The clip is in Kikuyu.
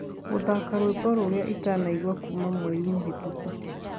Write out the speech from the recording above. guthaka rwĩmbo rũrĩa itanaigua kũma mwerĩ muhituku